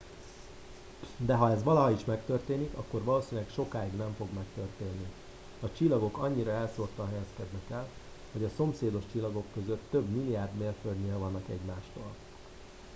de ha ez valaha is megtörténik akkor valószínűleg sokáig nem fog megtörténni a csillagok annyira elszórtan helyezkednek el hogy a szomszédos csillagok között több billiárd mérföldnyire vannak egymástól